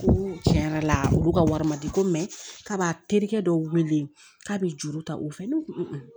Ko tiɲɛ yɛrɛ la olu ka wari ma di ko k'a b'a terikɛ dɔw weele k'a be juru ta u fɛ ne ko